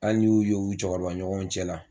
Hali n'i y'u ye u cɛkɔrɔba ɲɔgɔnw cɛ la.